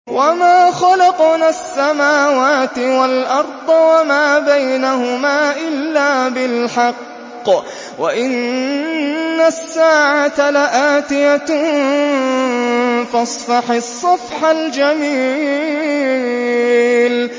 وَمَا خَلَقْنَا السَّمَاوَاتِ وَالْأَرْضَ وَمَا بَيْنَهُمَا إِلَّا بِالْحَقِّ ۗ وَإِنَّ السَّاعَةَ لَآتِيَةٌ ۖ فَاصْفَحِ الصَّفْحَ الْجَمِيلَ